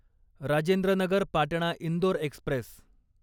Rajendra Nagar Patna Indore Express